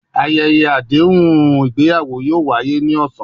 Ayẹyẹ adehun igbeyawo yoo waye ni ọsan